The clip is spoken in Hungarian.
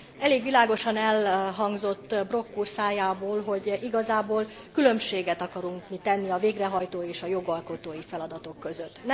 Elég világosan elhangzott Brok úr szájából, hogy igazából különbséget akarunk mi tenni a végrehajtó és a jogalkotói feladatok között.